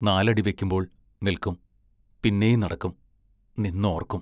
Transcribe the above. നാലടി വെക്കുമ്പോൾ നിൽക്കും, പിന്നെയും നടക്കും; നിന്ന് ഓർക്കും....